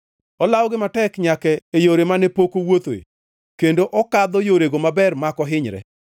Olawogi matek nyaka e yore mane pok owuothoe kendo okadho yorego maber mak ohinyre.